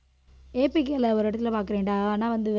ஏ B கேல ஒரு இடத்தில பாக்கறேன்டா ஆனா வந்து